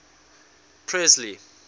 presley